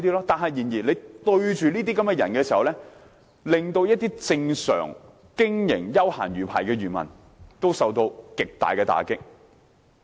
正因為這些人，一些經營正常休閒魚排的養魚戶受到極大打擊。